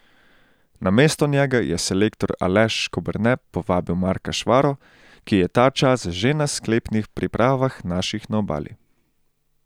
Namesto njega je selektor Aleš Škoberne povabil Marka Švaro, ki je ta čas že na sklepnih pripravah naših na Obali.